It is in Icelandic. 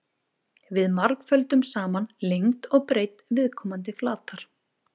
Við margföldum saman lengd og breidd viðkomandi flatar.